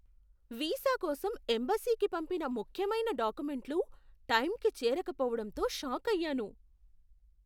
Visa కోసం ఎంబసీకి పంపిన ముఖ్యమైన డాక్యుమెంట్లు టైంకి చేరకపోవడంతో షాకయ్యాను.